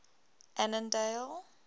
annandale